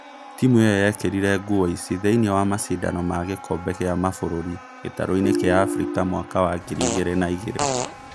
Timũ ĩyo yekĩrire nguo ici thĩinĩ wa macindano ma gĩkombe gĩa kĩmabũrũri gĩtaro-inĩ kĩa Afrika mwaka wa ngiri igĩrĩ na igĩrĩ